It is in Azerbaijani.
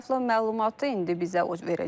Ətraflı məlumatı indi bizə verəcək.